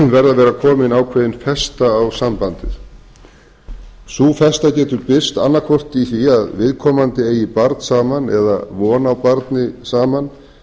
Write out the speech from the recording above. að vera komin ákveðin festa á sambandið sú festa getur birst annaðhvort í því að viðkomandi eigi barn saman eða von á barni saman